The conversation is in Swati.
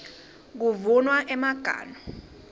kuvunwa emaganu